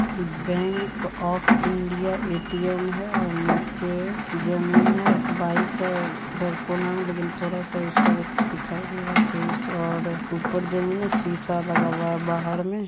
Bank of India ATM है और नीचे जमीन है एक बाइक है इधर कोना में लेकिन थोड़ा-सा फेस दिखाई दे रहा है ऊपर जमीन है शीशा लगा हुआ है। बाहर में --